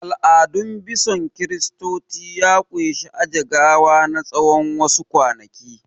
Al'adun bison Kiristoci ya ƙunshi aje gawan na wa su kwanaki